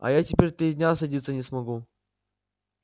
а я теперь три дня садиться не смогу